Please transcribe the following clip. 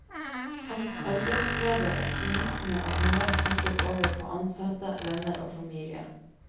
Hans arbeidsglede, optimisme og humør smittet over på ansatte, venner og familie.